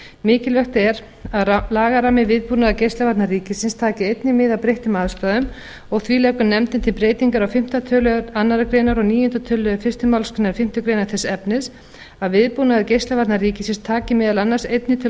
mikilvægt er að lagarammi viðbúnaðar geislavarna ríkisins taki einnig mið af breyttum aðstæðum og því leggur nefndin til breytingar á fimmta tölulið annarrar greinar og níunda töluliðar fyrstu málsgrein fimmtu greinar þess efnis að viðbúnaður geislavarna ríkisins taki meðal annars einnig til